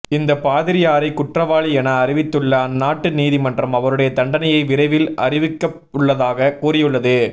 இந்த பாதிரியாரை குற்றவாளி என அறிவித்துள்ள அந்நாட்டு நீதிமன்றம் அவருடைய தண்டனையை விரைவில் அறிவிக்கவுள்ளதாக கூறியுள்ளது